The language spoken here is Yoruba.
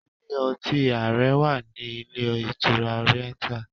Ilé ọtí ààrẹ wà ní ilé ìtura Oriental.